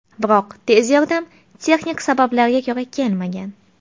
Biroq tez yordam texnik sabablarga ko‘ra kelmagan.